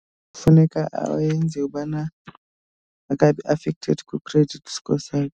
Kufuneka yenziwe ubana akabi affected kwi-credit score sakhe.